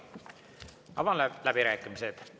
Avan läbirääkimised.